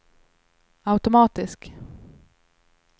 automatisk